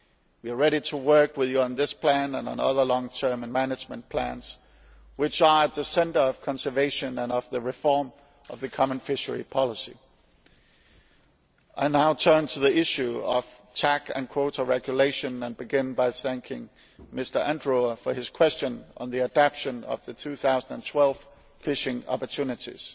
We are ready to work with you on this plan and on other long term and management plans which are at the centre of conservation and of the reform of the common fishery policy. I now turn to the issue of total allowable catch and quota regulation and begin by thanking Mr Mato Adrover for his question on the adoption of the 2012 fishing opportunities.